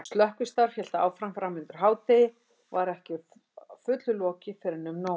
Slökkvistarf hélt áfram framundir hádegi og var ekki að fullu lokið fyrren um nón.